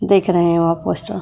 देख रहे हो आप पोस्टर --